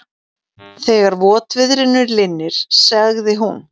Þegar votviðrinu linnir, sagði hún.